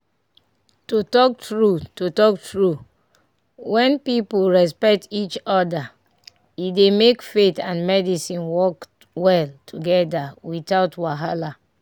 to talk true to talk true when people respect each other e dey make faith and medicine work well together without wahala."